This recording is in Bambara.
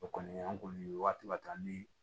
O kɔni an kɔni ye waati ka ca ni